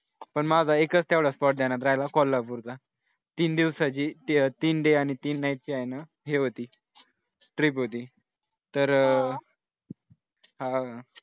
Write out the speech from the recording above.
पण माझा एकच spot ध्यानात राहायला कोल्हापूरचा. तीन दिवसाचे तीन day आणि तीन night ची आहे ना हे होती trip होती तर अह हा